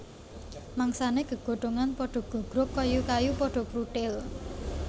Mangsané gegodhongan padha gogrog kayu kayu padha pruthil